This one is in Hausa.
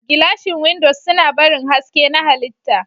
Gilashin windows suna barin haske na halitta.